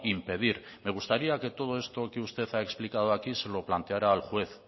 impedir me gustaría que todo esto que usted ha explicado aquí se lo planteará al juez